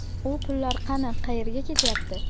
U pullar qani, qayerga ketyapti?